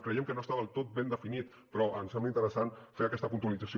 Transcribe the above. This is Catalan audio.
creiem que no està del tot ben definit però ens sembla interessant fer aquesta puntualització